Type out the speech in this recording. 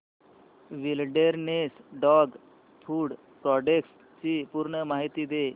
wilderness dog food products ची पूर्ण माहिती दे